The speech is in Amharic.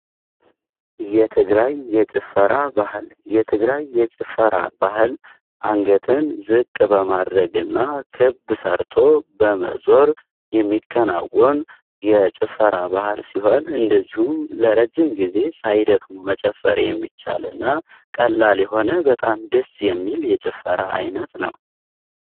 የትግራይ የጭፈራ ባህል የትግራይ የጭፈራ ባህል አንገትን ዝቅ በማድረግ እና ክብ ሰርቶ በመዞር የሚከናወን የጭፈራ ባህል ሲሆን፤ እንደዚሁም ለረጅም ጊዜ ሳይደክሙ መጨፈር የሚቻል እና ቀላል የሆነ በጣም ድስ የሚል የጭፈራ ዓይነት ነው።